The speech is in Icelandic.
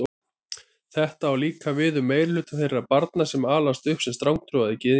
Þetta á líka við um meirihluta þeirra barna sem alast upp sem strangtrúaðir gyðingar.